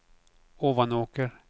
Ovanåker